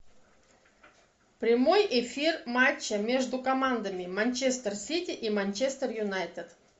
прямой эфир матча между командами манчестер сити и манчестер юнайтед